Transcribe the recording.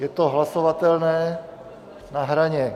Je to hlasovatelné na hraně.